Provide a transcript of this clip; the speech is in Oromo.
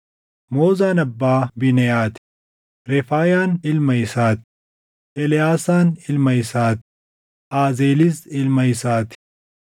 Moozaan abbaa Biineʼaa ti; Refaayaan ilma isaa ti; Eleʼaasaan ilma isaa ti; Aazeelis ilma isaa ti.